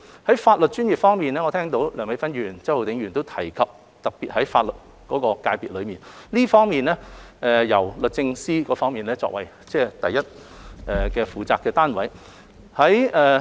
在法律專業方面，我聽到梁美芬議員、周浩鼎議員都提及法律界別，律政司是這方面的第一負責單位。